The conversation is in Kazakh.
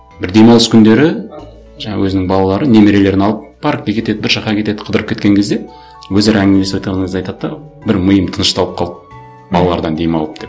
бір демалыс күндері жаңа өзінің балалары немерелерін алып паркке кетеді бір жаққа кетеді қыдырып кеткен кезде өзара әңгімелесіп отырған кезде айтыда да бір миым тынышталып қалды балалардан демалып деп